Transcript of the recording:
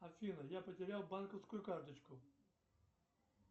афина я потерял банковскую карточку